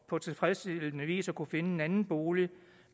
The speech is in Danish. på tilfredsstillende vis at kunne finde en anden bolig